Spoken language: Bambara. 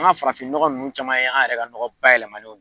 An ka farafinnɔgɔn ninnu caman ye an yɛrɛ ka nɔgɔ bayɛlɛmanenw